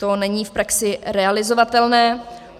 To není v praxi realizovatelné.